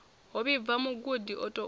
ho vhibvaho mugudi o tou